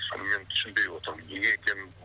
соны мен түсінбей отырмын неге екенін